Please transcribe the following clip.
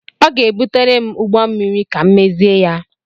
Ọ ga-ebutere m ụgbọ mmịrị ka m mezie ya.